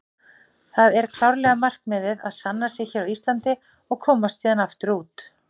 Það er klárlega markmiðið að sanna sig hér á Íslandi og komast síðan aftur út.